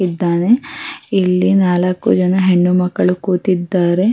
ಇದ್ದಾನೆ ಇಲ್ಲಿ ನಾಲಕ್ಕು ಜನ ಹೆಣ್ಣು ಮಕ್ಕಳು ಕೂತಿದ್ದಾರೆ.